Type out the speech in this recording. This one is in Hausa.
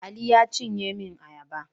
Ali ne ya cinye min ayaba.